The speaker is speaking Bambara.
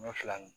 Ɲɔ fila ni